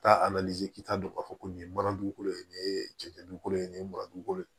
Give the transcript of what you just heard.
Taa k'i ta dɔn k'a fɔ ko nin ye mana dugukolo ye nin ye cɛncɛn dugukolo ye nin ye mara dukolo ye